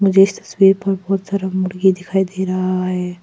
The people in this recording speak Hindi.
इस तस्वीर पर बहुत सारा मुर्गी दिखाई दे रहा है।